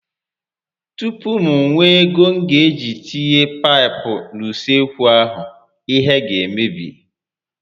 Tupu m nwee ego m ga eji tinye paịpụ n'usekwu a, ihe ga emebi